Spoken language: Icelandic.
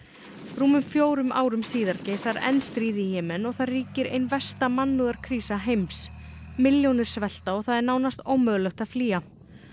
rúmum fjórum árum síðar geisar enn stríð í Jemen og þar ríkir ein versta heims milljónir svelta og það er nánast ómögulegt að flýja